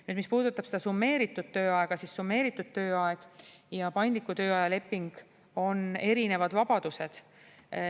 Nüüd, mis puudutab seda summeeritud tööaega, siis summeeritud tööaeg ja paindliku tööaja leping on erinevad vabadused.